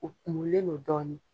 O kurulen don dɔɔnin.